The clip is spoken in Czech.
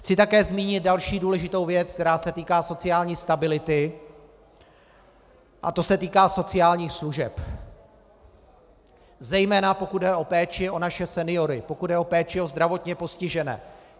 Chci také zmínit další důležitou věc, která se týká sociální stability, a to se týká sociálních služeb, zejména pokud jde o péči o naše seniory, pokud jde o péči o zdravotně postižené.